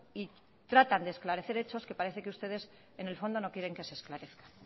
y tratan de esclarecer hechos que parece que ustedes en el fondo no quieren que se esclarezcan